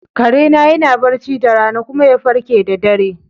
Kare na yana barci da rana kuma ya farke da dare.